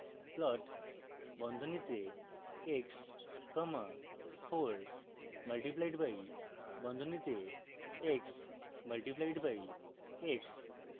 plot বন্ধনীতে x comma 4 multiplied by বন্ধনীতে x multiplied by x